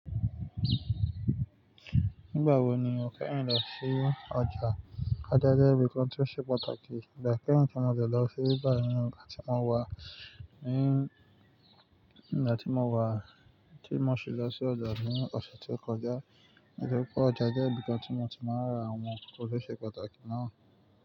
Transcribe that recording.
Nígbà wo ni o fẹ́ rìn lọ sí ọjà? Ọjà jẹ́ ibi kan tí ó ṣe pàtàkì. Ìgbà kẹ́hìn tí mo de lọ síbí bá ní ìgbà tí mo wà, ní ìgbà tí mo wà, tí mo ṣí lọ sí ọjà ní ọ̀sẹ̀ tó kọjá. Ó ṣe pé ọjà jẹ́ ibi tí mo ti máa ń ra àwọn ohun tí ó ṣe pàtàkì náà.